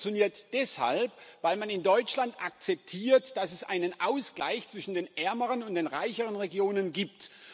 Das funktioniert deshalb, weil man in Deutschland akzeptiert, dass es einen Ausgleich zwischen den ärmeren und den reicheren Regionen gibt.